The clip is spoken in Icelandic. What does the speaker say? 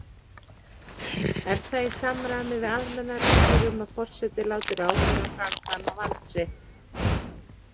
Er það í samræmi við almennar reglur um að forseti láti ráðherra framkvæma vald sitt.